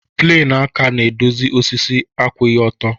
Pleni aka na-edozi osisi akwụghị ọtọ.